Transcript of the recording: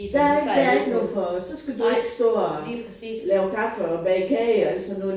Der er der ikke brug for så skal du ikke stå og lave kaffe og bage kage og alt sådan noget